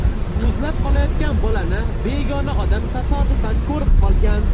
Muzlab qolayotgan bolani begona odam tasodifan ko‘rib qolgan.